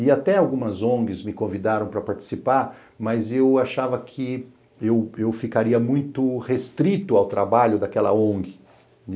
E até algumas on gues me convidaram para participar, mas eu achava que eu eu ficaria muito restrito ao trabalho daquela on gue.